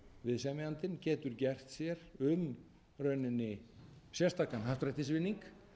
viðsemjandinn getur gert sér um í rauninni sérstakan happdrættisvinning